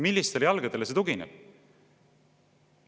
Millistele jalgadele see tugineb?